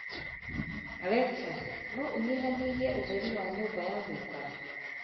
Alexa, no ũnyihanyihie ũtheri wa nyũmba ya gũikara?